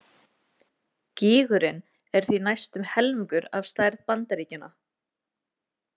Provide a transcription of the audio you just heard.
Gígurinn er því næstum helmingur af stærð Bandaríkjanna!